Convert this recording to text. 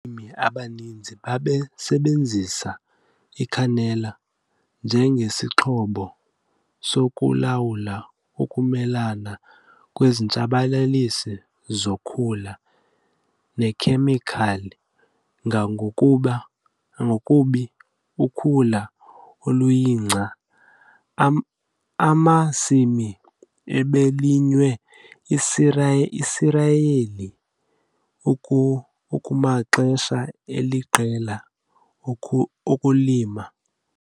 Abalimi abaninzi basasebenzisa icanola njengesixhobo sokulawula ukumelana kwezitshabalalisi zokhula nekhemikhali, ngakumbi ukhula oluyingca, emasimini ebelinywe iisiriyeli kumaxesha aliqela okulima.